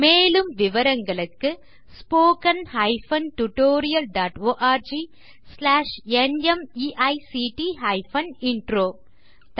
மேலும் விவரங்களுக்கு spoken hyphen tutorial dot org slash NMEICT hyphen intro மூல பாடம் தேசி க்ரூ சொலூஷன்ஸ்